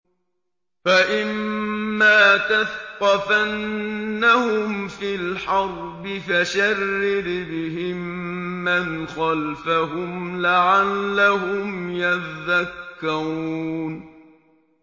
فَإِمَّا تَثْقَفَنَّهُمْ فِي الْحَرْبِ فَشَرِّدْ بِهِم مَّنْ خَلْفَهُمْ لَعَلَّهُمْ يَذَّكَّرُونَ